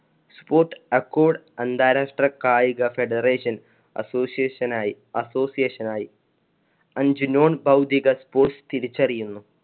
sportaccord അന്താരാഷ്ട്ര കായിക federation association ആയി, association ആയി. അഞ്ച് non ഭൌതിക sports തിരിച്ചറിയുന്നു.